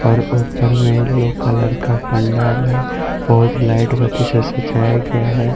और ऊपर में येलो कलर का पंडाल है बहोत लाइट बती से सजाया गया है।